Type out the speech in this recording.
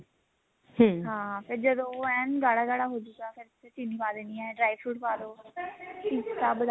ਹਾਂ ਫੇਰ ਜਦੋਂ ਉਹ ਐਨ ਗਾੜਾ ਗਾੜਾ ਹੋਜੂਗਾ ਫੇਰ ਉਸ ਚ ਚੀਨੀ ਪਾ ਦੇਣੀ ਐ dry fruit ਪਾ ਦਓ ਪਿਸਤਾ